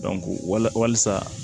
walasa